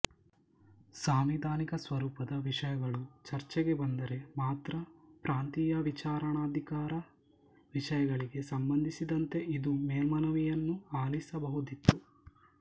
ಸಾಂವಿಧಾನಿಕ ಸ್ವರೂಪದ ವಿಷಯಗಳು ಚರ್ಚೆಗೆ ಬಂದರೆ ಮಾತ್ರ ಪ್ರಾಂತೀಯ ವಿಚಾರಣಾಧಿಕಾರ ವಿಷಯಗಳಿಗೆ ಸಂಬಂಧಿಸಿದಂತೆ ಇದು ಮೇಲ್ಮನವಿಯನ್ನು ಆಲಿಸಬಹುದಿತ್ತು